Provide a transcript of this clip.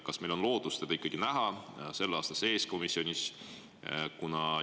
Kas meil on lootust teda ikkagi selle aasta sees komisjonis näha?